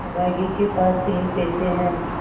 अभागे के पास तीन पैसे है